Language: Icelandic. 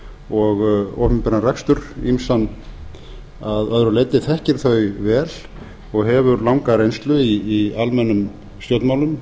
og opinberan rekstur ýmsan að öðru leyti þekkir þau vel og hefur langa reynslu í almennum stjórnmálum